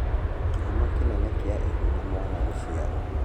Kĩhumo kĩnene kĩ ihu na mwana gũciaro.